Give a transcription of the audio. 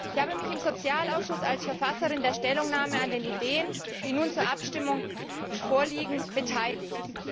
Ich habe mich im Sozialausschuss als Verfasserin der Stellungnahme an der Ausarbeitung der Ideen, die nun zur Abstimmung vorliegen, beteiligt.